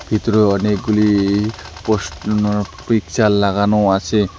ভিতরে অনেকগুলি পোসনো উম পিকচার লাগানো আছে।